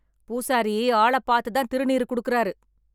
பூசாரி ஆள பாத்து தான் திருநீறு குடுக்குறாரு.